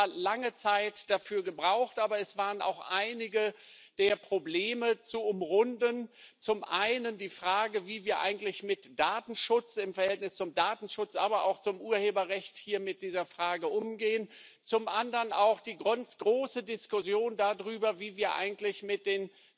Wir haben zwar lange Zeit dafür gebraucht, aber es waren auch einige Probleme zu umrunden Zum einen die Frage, wie wir eigentlich mit dem Verhältnis zum Datenschutz, aber auch zum Urheberrecht umgehen, zum anderen auch die große Diskussion darüber, wie wir eigentlich mit den